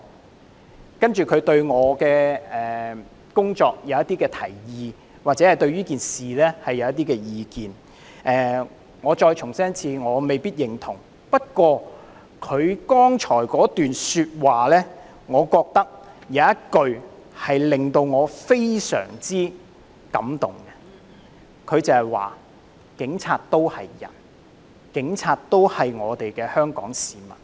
"然後，這位選民對我的工作提出一些建議或對這件事提出一些意見，我再重申，我未必認同，但剛才他這段說話，我覺得有一句令我非常感動，便是警察都是人，警察都是我們的香港市民。